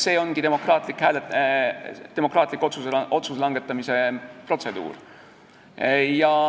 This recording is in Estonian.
See ongi demokraatlik otsuse langetamise protseduur.